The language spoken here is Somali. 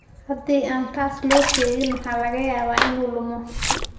Haddii aan taas loo sheegin, waxaa laga yaabaa inuu lumo.